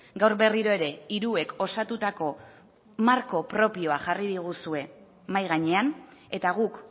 gaur berriro ere hiruek osatutako marko propioa jarri diguzue mahai gainean eta guk